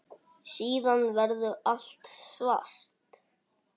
Síðan verður allt svart.